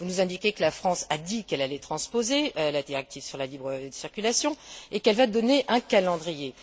Vous nous indiquez que la France a dit qu'elle allait transposer la directive sur la libre circulation et qu'elle va donner un calendrier.